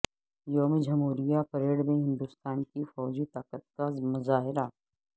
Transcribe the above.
یوم جمہوریہ پریڈ میں ہندوستان کی فوجی طاقت کا مظاہرہ